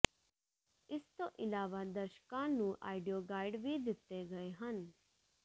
ਇਸ ਤੋਂ ਇਲਾਵਾ ਦਰਸ਼ਕਾਂ ਨੂੰ ਆਡੀਓਗਾਈਡ ਵੀ ਦਿੱਤੇ ਗਏ ਹਨ